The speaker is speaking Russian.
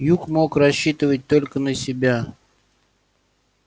юг мог рассчитывать только на себя